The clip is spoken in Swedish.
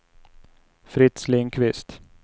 Fritz Lindkvist